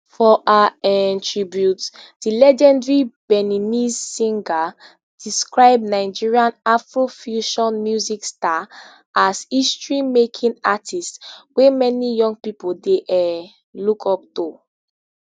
for her um tribute di legendary beninese singer describe nigerian afrofusion music star as historymaking artist wey many young pipo dey um look up to